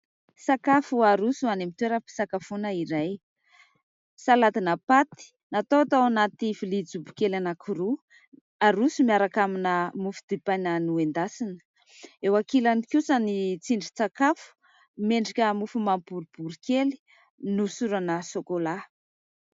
Sakafo haroso any amin'ny toeram-pisakafoana iray. Saladina paty natao tao anaty vilia jobo kely anankiroa, haroso miaraka amina mofo dipaina noendasina. Eo ankilany kosa ny tsindrin-tsakafo miendrika mofo mamy boribory kely, nohosorana sokolà.